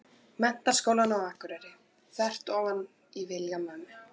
Menntaskólann á Akureyri, þvert ofan í vilja mömmu.